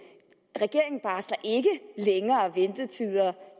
længere ventetider